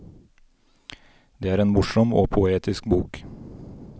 Det er en morsom og poetisk bok.